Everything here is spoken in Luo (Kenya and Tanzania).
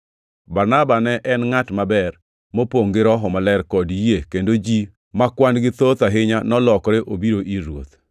Barnaba ne en ngʼat maber, mopongʼ gi Roho Maler kod yie kendo ji ma kwan-gi thoth ahinya nolokore obiro ir Ruoth.